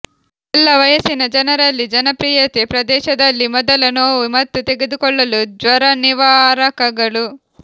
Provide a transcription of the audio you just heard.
ಎಲ್ಲಾ ವಯಸ್ಸಿನ ಜನರಲ್ಲಿ ಜನಪ್ರಿಯತೆ ಪ್ರದೇಶದಲ್ಲಿ ಮೊದಲ ನೋವು ಮತ್ತು ತೆಗೆದುಕೊಳ್ಳಲು ಜ್ವರನಿವಾರಕಗಳು